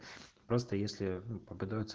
просто если подготовиться